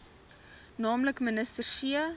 nl minister c